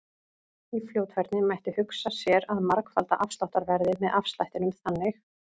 Í fljótfærni mætti hugsa sér að margfalda afsláttarverðið með afslættinum þannig: